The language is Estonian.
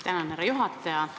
Tänan, härra juhataja!